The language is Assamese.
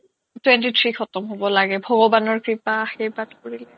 twenty-three ত khatam হ'ব লাগে ভগৱানৰ কৃপা আৰ্শীবাদ কৰিলে